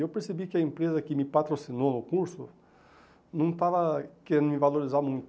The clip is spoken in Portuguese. E eu percebi que a empresa que me patrocinou o curso não estava querendo me valorizar muito.